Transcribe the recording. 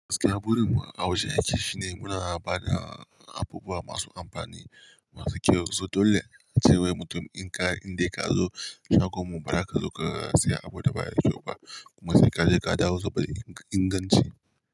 Gaskiya burin mu a wajen aiki shine muna ba da abubuwa masu amfani, masu kyau, so dole cewai mutum in ka, in dai ka zo shagon mu ba zaka zo ka saya abu gaba daya ba kuma sai ka je ka dawo duba inganci.